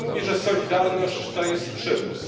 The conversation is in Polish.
Pan mówi, że solidarność to jest przymus.